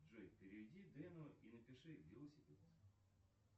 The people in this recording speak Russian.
джой переведи дэну и напиши велосипед